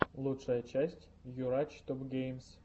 лучшая часть йурач топгеймс